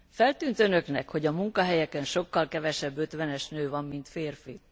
Feltűnt Önöknek, hogy a munkahelyeken sokkal kevesebb ötvenes nő van, mint férfi?